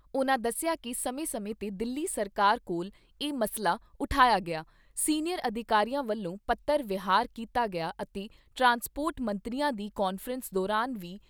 ਉਨ੍ਹਾਂ ਦੱਸਿਆ ਕਿ ਸਮੇਂ ਸਮੇਂ 'ਤੇ ਦਿੱਲੀ ਸਰਕਾਰ ਕੋਲ ਇਹ ਮਸਲਾ ਉਠਾਇਆ ਗਿਆ, ਸੀਨੀਅਰ ਅਧਿਕਾਰੀਆਂ ਵੱਲੋਂ ਪੱਤਰ ਵਿਹਾਰ ਕੀਤਾ ਗਿਆ ਅਤੇ ਟਰਾਂਸਪੋਟਰ ਮੰਤਰੀਆਂ ਦੀ ਕਾਨਫਰੰਸ ਦੌਰਾਨ ਵੀ